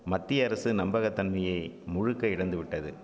மத்திய அரசு நம்பக தன்மையே முழுக்க இழந்துவிட்டது